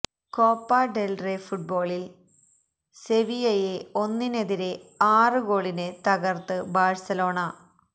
Copa del Rey ഫുട്ബോളില് സെവിയ്യയെ ഒന്നിനെതിരെ ആറ് ഗോളിന് തകര്ത്ത് ബാഴ്സലോണ